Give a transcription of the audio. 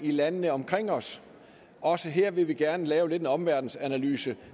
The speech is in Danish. i landene omkring os også her vil vi gerne lave en omverdensanalyse